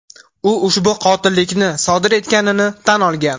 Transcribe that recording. U ushbu qotillikni sodir etganini tan olgan.